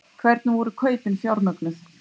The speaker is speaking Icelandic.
Hvernig voru kaupin fjármögnuð?